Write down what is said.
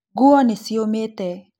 Nguo nĩciũmĩte